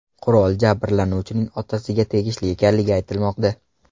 Qurol jabrlanuvchining otasiga tegishli ekanligi aytilmoqda.